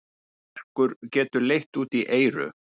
Verkur getur leitt út í eyru.